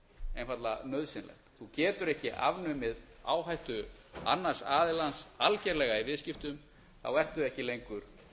einfaldlega nauðsynlegt þú getur ekki afnumið áhættu annars aðilans algerlega í viðskiptum þá ertu ekki lengur